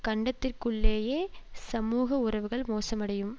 கண்டத்திற்குள்ளேயே சமூக உறவுகள் மோசமடையும்